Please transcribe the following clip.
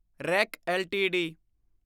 rack LTD